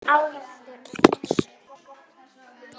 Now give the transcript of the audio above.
ávextir og ber